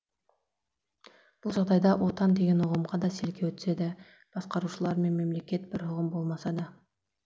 бұл жағдайда отан деген ұғымға да селкеу түседі басқарушылар мен мемлекет бір ұғым болмаса да